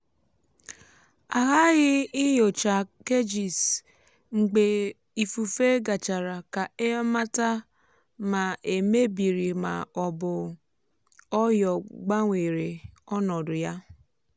ndị ọrụ ugbo na-eji ọyò azụ ọyò azụ tuchie ọdọ mmiri ka mmiri dị jụụ ma belata uto algae.